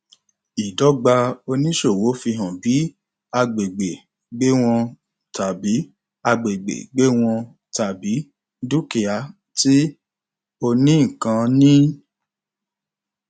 ìdọgba oníṣòwò fi hàn bi agbègbè gbéwọn tàbí agbègbè gbéwọn tàbí dúkìá tí onínnkan ní